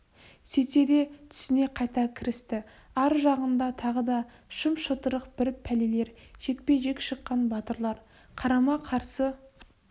сөйтті де түсіне қайта кірісті ар жағында тағы да шым-шытырық бір пәлелер жекпе-жек шыққан батырлар қарама-қарсы